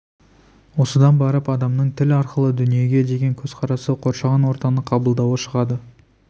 осыдан барып адамның тіл арқылы дүниеге деген көзқарасы қоршаған ортаны қабылдауы шығады